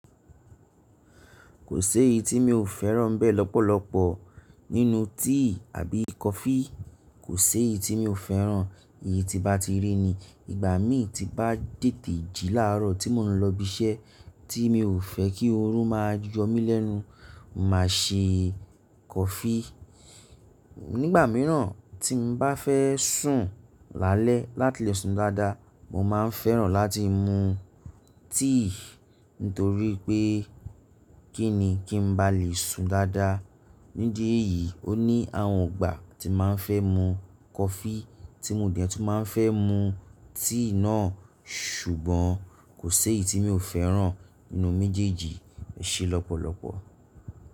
Kò sé èyí tí mi ò fẹ́ràn n bé lọ́pọ̀lọpọ̀ nínú tíì àbí kọfí. Kò séèyí tí mi ò fẹ́ràn èyí tí bá ti rí ni. Ìgbà mi tí n bá tètè jí láàárọ̀ tí mo n lọ ibi iṣẹ́ tí mi ò fẹ́ kí oorun máa yọ mí lẹ́nu, màá ṣe kọfí. Nígbà míràn tí n bá fẹ́ sùn lálẹ́ láti lè sun dáadáa, mo má a fẹ́ràn láti mu tíì nítorí pé kí ni kí n bá lè sun dáadáa. Nídi èyí, o ní àwọn ìgbà tí ma n fẹ́ mu kọfí tí mo dẹ̀ tún ma n fẹ́ mu tíì náà ṣùgbọ́n kò sèyí tí mi ò fẹ́ràn nínú méjèèjì e ṣé lọ́pọ̀lọpọ̀.